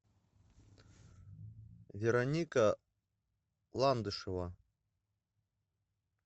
вероника ландышева